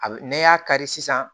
A bi n'i y'a kari sisan